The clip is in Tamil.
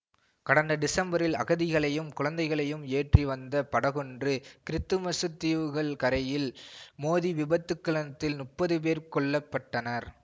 கடந்த டிசம்பரில் அகதிகளையும் குழந்தைகளையும் ஏற்றி வந்த படகொன்று கிறித்துமசுத் தீவுகள் கரையில் மோதி விபத்துக்களதில் முப்பது பேர் கொல்ல பட்டனர்